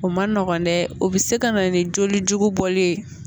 O man nɔgɔn dɛ o bɛ se ka na ni joli jugu bɔli ye